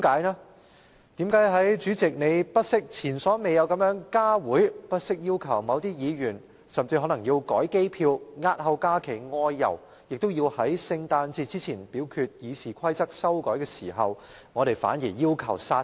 為何在主席前所未有地不惜加開會議，甚至要求某些議員更改機票押後假期外遊，也要在聖誕節前表決修改《議事規則》的決議案之際，我們反而要求將之煞停？